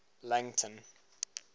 langton